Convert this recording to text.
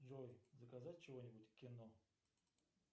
джой заказать чего нибудь к кино